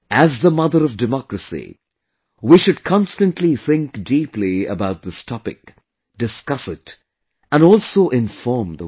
As the Mother of Democracy, we should constantly think deeply about this topic, discuss it and also inform the world